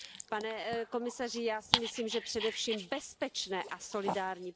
Pane komisaři, já si myslím, že především bezpečné a solidární.